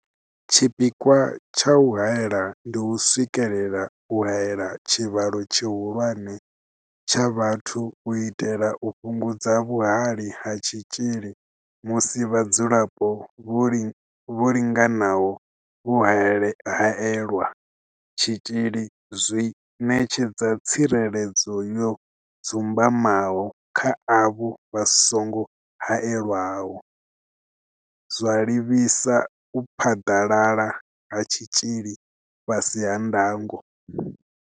Tshipikwa tsha u haela ndi u swikelela u haela tshivhalo tshihulwane tsha vhathu u itela u fhungudza vhuhali ha tshitzhili musi vhadzulapo vho linganaho vho haelelwa tshitzhili zwi ṋetshedza tsireledzo yo dzumbamaho kha avho vha songo haelwaho, zwa livhisa u phaḓalala ha tshitzhili fhasi ha ndango.